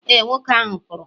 e, nwoke ahụ pụrụ